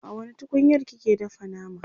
a wani tukunyar kike dafa nama?